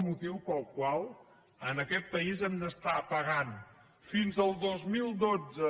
motiu pel qual en aquest país hem d’estar pagant fins al dos mil dotze